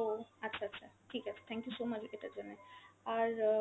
ও, আচ্ছা আচ্ছা, ঠিক আছে, thank you so much এটার জন্যে। আর অ